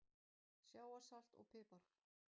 Sjávarsalt og pipar